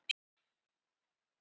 Það mun ekki breytast.